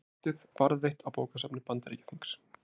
Veldið varðveitt á bókasafni Bandaríkjaþings